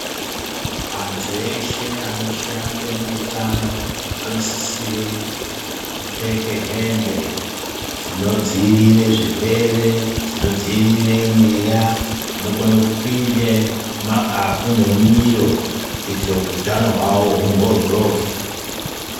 Antu eshe anoshande muutano anosisire kudhloka mpbahla dzinodzirire zvirwere dzinodziirire mweya inokone kupinde mumapapu nemumiro kuitire kuti unao hwavo humhoryoke.